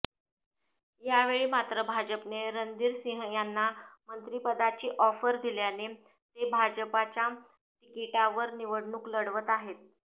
यावेळी मात्र भाजपने रणधीर सिंह यांना मंत्रिपदाची ऑफर दिल्याने ते भाजपच्या तिकिटावर निवडणूक लढवत आहेत